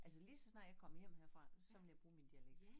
Altså lige så snart jeg kommer hjem herfra så vil jeg bruge min dialekt